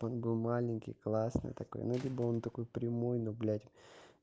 он был маленький классный такой ну либо он такой прямой но блять